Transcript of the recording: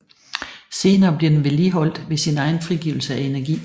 Senere bliver den vedligeholdt ved sin egen frigivelse af energi